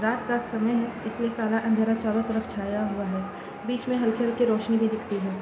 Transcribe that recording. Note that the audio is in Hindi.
रात का समय है इसलिए काला अँधेरा चारो तरफ छाया हुआ है बीच में हलके हलके रोशनी भी दिखती है ।